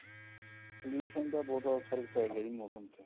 pollution ਦਾ ਬਹੁਤ ਜਿਆਦਾ ਫਰਕ ਪੈ ਗਿਆ ਜੀ ਮੋਸਮ ਤੇ